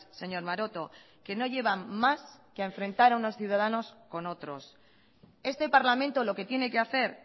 señor maroto que no llevan más que a enfrentar a unos ciudadanos con otros este parlamento lo que tiene que hacer